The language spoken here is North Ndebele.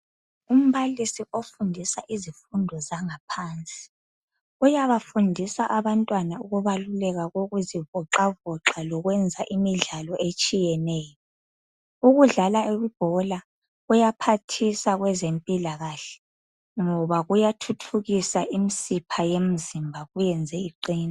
Umbalisi ofundisa izifundo zabaphansi, uyabafundisa abantwana ukubaluleka kokuzivoxavoxa, lokwenza imidlalo etshiyeneyo. Ukudlala ibhola, kuyaphathisa kwezempilakahle, ngoba kuyathuthukisa imisipha yemzimba. Kuyenze iqine.